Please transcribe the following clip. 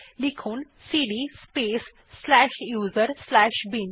লিখুন cd space slash U S R slash bin